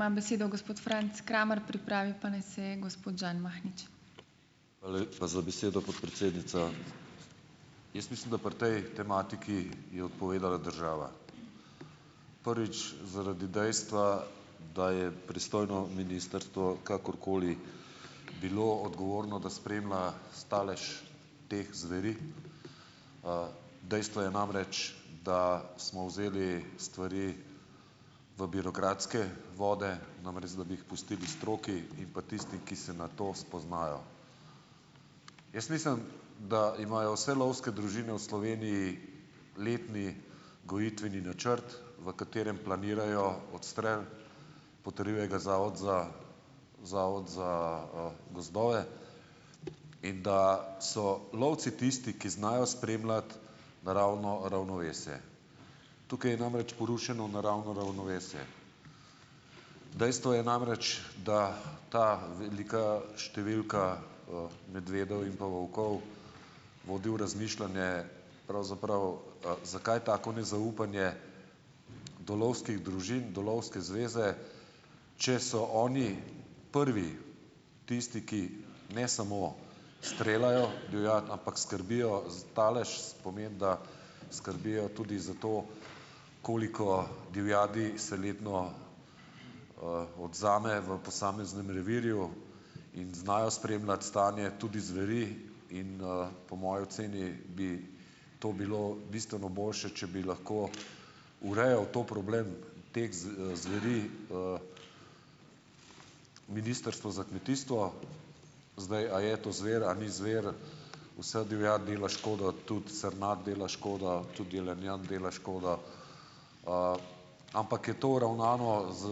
Hvala lepa za besedo, podpredsednica. Jaz mislim, da pri tej tematiki je odpovedala država. Prvič zaradi dejstva, da je pristojno ministrstvo kakorkoli bilo odgovorno, da spremlja stalež teh zveri. Dejstvo je namreč, da smo vzeli stvari v birokratske vode, namesto da bi jih pustili stroki in pa tistim, ki se na to spoznajo. Jaz mislim, da imajo vse lovske družine v Sloveniji letni gojitveni načrt, v katerem planirajo odstrel, potrjuje ga zavod za zavod za, gozdove in da so lovci tisti, ki znajo spremljati naravno ravnovesje. Tukaj je namreč porušeno naravno ravnovesje. Dejstvo je namreč, da ta velika številka, medvedov in pa volkov vodi v razmišljanje, pravzaprav, zakaj tako nezaupanje do lovskih družin, do lovske zveze, če so oni prvi tisti, ki ne samo streljajo divjad, ampak skrbijo za stalež, pomeni, da skrbijo tudi za to, koliko divjadi se letno, odvzame v posameznem revirju in znajo spremljati stanje tudi zveri. In, po moji oceni bi to bilo bistveno boljše, če bi lahko urejalo ta problem teh zveri, Ministrstvo za kmetijstvo. Zdaj, a je to zver a ni zver, vsa divjad dela škodo, tudi srnjad dela škodo, tudi jelenjad dela škodo. Ampak je to uravnano z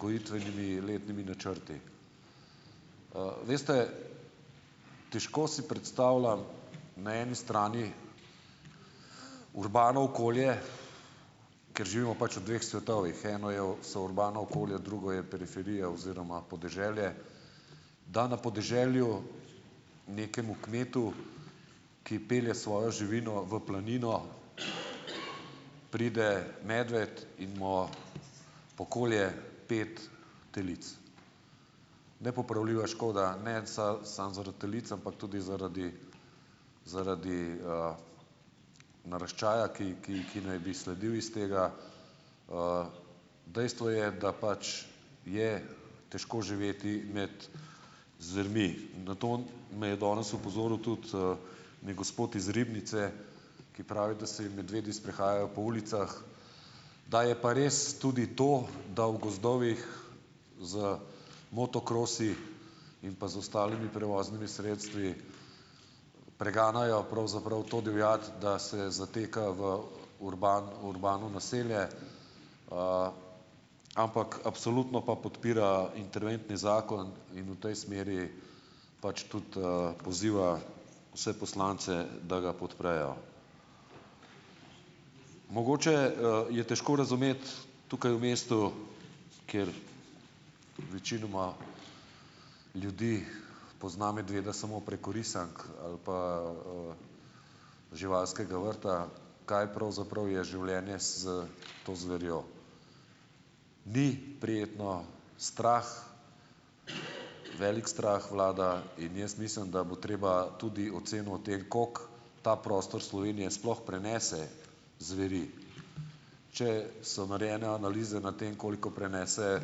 gojitvenimi letnimi načrti. Veste, težko si predstavljam, na eni strani urbano okolje, ker živimo pač v dveh svetovih. Eno je, so urbana okolja, drugo je periferija oziroma podeželje. Da na podeželju nekemu kmetu, ki pelje svojo živino v planino pride medved in mu pokolje pet telic. Nepopravljiva škoda, ne samo zaradi telic, ampak tudi zaradi, zaradi, naraščaja, ki ki ki naj bi sledil iz tega. Dejstvo je, da pač je težko živeti med zvermi. Na to me je danes opozoril tudi, neki gospod iz Ribnice, ki pravi, da se jim medvedi sprehajajo po ulicah. Da je pa res tudi to, da v gozdovih z motokrosi in pa z ostalimi prevoznimi sredstvi preganjajo pravzaprav to divjad, da se zateka v urbano naselje. Ampak absolutno pa podpira interventni zakon in v tej smeri pač tudi, poziva vse poslance, da ga podprejo. Mogoče, je težko razumeti tukaj v mestu, kjer večinoma ljudi pozna medveda samo preko risank ali pa, živalskega vrta, kaj pravzaprav je življenje s s to zverjo. Ni prijetno. Strah, velik strah vlada. In jaz mislim, da bo treba tudi oceno o tem, kako ta prostor Slovenije sploh prenese zveri. Če so narejene analize na tem, koliko prenese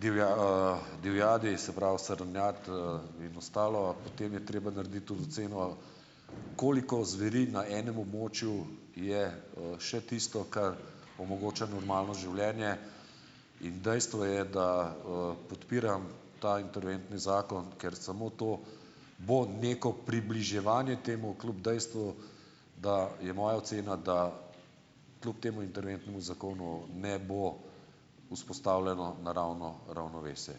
divjadi, se pravi srnjad, in ostalo, po tem je treba narediti tudi oceno, koliko zveri na enem območju je, še tisto, kar omogoča normalno življenje, in dejstvo je, da, podpiram ta interventni zakon, ker samo to bo neko približevanje temu, kljub dejstvu, da je moja ocena, da kljub temu interventnemu zakonu ne bo vzpostavljeno naravno ravnovesje.